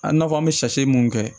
A na fɔ an bɛ mun kɛ